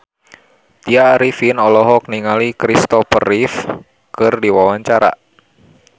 Tya Arifin olohok ningali Kristopher Reeve keur diwawancara